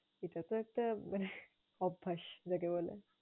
এটা তো একটা অভ্যাস যাকে বলে।